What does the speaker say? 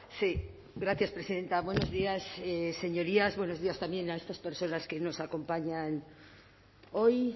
sí gracias presidenta buenos días señorías buenos días también a estas personas que nos acompañan hoy